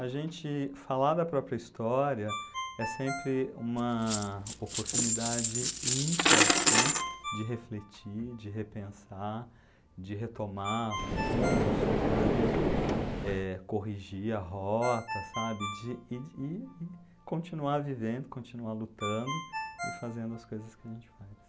A gente falar da própria história é sempre uma oportunidade ímpar, né, de refletir, de repensar, de retomar rumos, sabe, de, eh, corrigir a rota sabe? De, e e continuar vivendo, continuar lutando e fazendo as coisas que a gente faz.